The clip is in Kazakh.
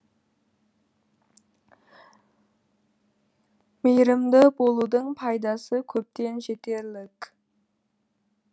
мейірімді болудың пайдасы көптен жетерлік